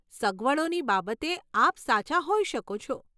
સગવડોની બાબતે આપ સાચા હોઈ શકો છો.